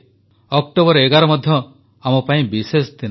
11 October ମଧ୍ୟ ଆମପାଇଁ ବିଶେଷ ଦିନ